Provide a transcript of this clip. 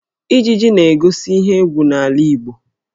Ijiji na-egosi ihe égwú n'ala Igbo